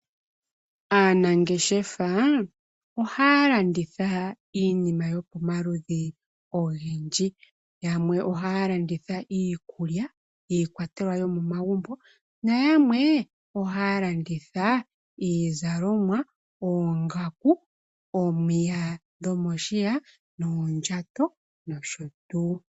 Aanangeshefa ohaya landitha iinima yopomaludhi ogendji yamwe ohaya landitha iikulya, iikwatelwa yomomagumbo noyamwe ohaya landitha iizalomwa, oongaku, omiya dhomo shiya, oondjato nosho tuu.